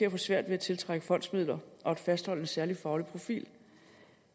at få svært ved at tiltrække fondsmidler og at fastholde en særlig faglig profil